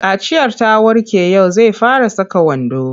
Kaciyar ta warke yau zai fara saka wando.